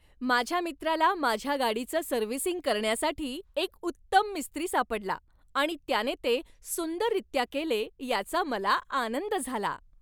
माझ्या मित्राला माझ्या गाडीचं सर्व्हिसिंग करण्यासाठी एक उत्तम मिस्त्री सापडला आणि त्याने ते सुंदररीत्या केले याचा मला आनंद झाला.